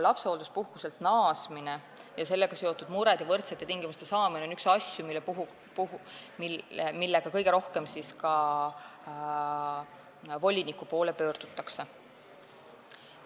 Lapsehoolduspuhkuselt naasmine ja sellega seotud mured ja võrdsete tingimuste saavutamine on üks probleeme, millega kõige rohkem voliniku poole pöördutakse.